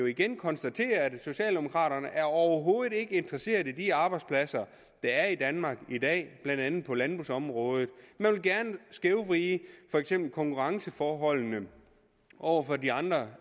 igen konstatere at socialdemokraterne overhovedet ikke er interesseret i de arbejdspladser der er i danmark i dag blandt andet på landbrugsområdet man vil gerne skævvride for eksempel konkurrenceforholdene over for de andre